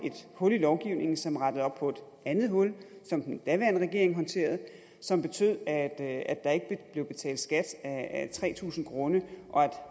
hul i lovgivningen som rettede op på et andet hul som den daværende regering håndterede og som betød at at der ikke blev betalt skat af tre tusind grunde og at